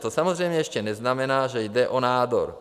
To samozřejmě ještě neznamená, že jde o nádor.